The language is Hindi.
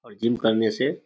और जिम करने से --